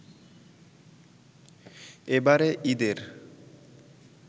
এবারে ঈদের